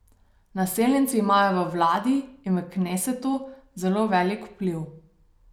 Naseljenci imajo v vladi in v knesetu zelo velik vpliv.